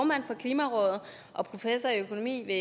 klimarådet og professor i økonomi ved